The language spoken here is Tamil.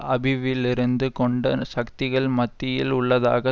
அபிவிலிருந்து கொண்ட சக்திள் மத்தியில் உள்ளதாக